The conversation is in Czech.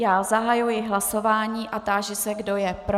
Já zahajuji hlasování a táži se, kdo je pro.